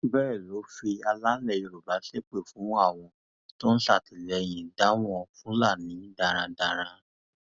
bẹẹ ló fi alálẹ yorùbá ṣépè fún àwọn tó ń ṣatiléyng dáwọn fúlàní darandaran